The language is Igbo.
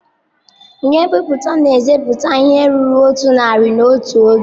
Ihe nbiputa na-eseputa ihe ruru otu narị n'otu oge.